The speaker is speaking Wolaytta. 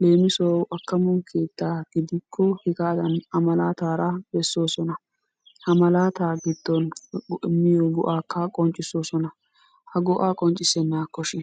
Leemisuwawu akkamo keettaa gidikko hegaadan A malaataara bessoosona. Ha malaataa giddon immiyo go'aakka qonccisoosona. Ha go'aa qonccissennaakkoshin?